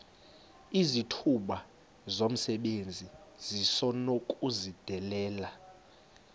izithuba zomsebenzi esinokuzidalela